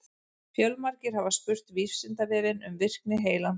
Fjölmargir hafa spurt Vísindavefinn um virkni heilans.